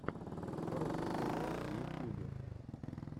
русик тв в ютьюбе